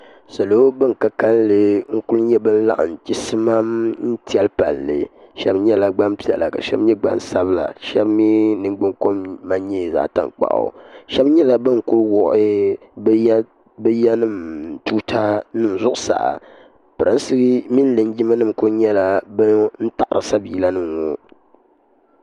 salo ban ka kalinli n-kuli nyɛ ban laɣim chisimam n-tɛli palli shɛba nyɛla gbampiɛla ka shɛba nyɛ gbansabila ka shɛba mi niŋgbuŋkom man nyɛ zaɣ' tankpaɣu shɛba nyɛla ban ku wuɣi bɛ yanima tuutanima zuɣusaa pirinsi mini linjimanima kuli nyɛla ban n-taɣiri sabiilanima ŋɔ